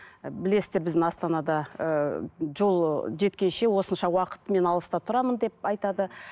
білесіздер біздің астанада ы жол жеткенше осынша уақыт мен алыста тұрамын деп айтады